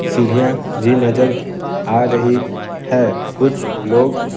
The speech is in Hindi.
सीढ़ियां भी नजर आ रही है कुछ लोग --